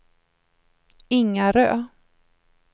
Ingarö